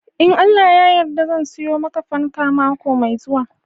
In Allah ya yarda zan siyo maka fanke mako mai zuwa.